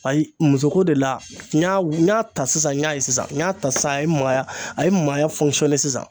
Ayi musoko de la n y'a ta sisan n y'a ye sisan n y'a ta sisan a ye maaya a ye n maaya sisan.